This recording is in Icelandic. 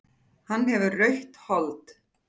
Hann hefur rautt hold.